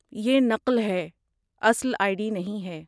یہ نقل ہے، اصل آئی ڈی نہیں ہے۔